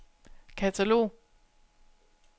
katalog